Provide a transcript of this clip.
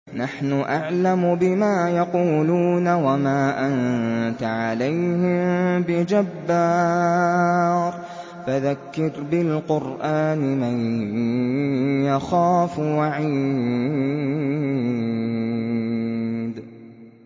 نَّحْنُ أَعْلَمُ بِمَا يَقُولُونَ ۖ وَمَا أَنتَ عَلَيْهِم بِجَبَّارٍ ۖ فَذَكِّرْ بِالْقُرْآنِ مَن يَخَافُ وَعِيدِ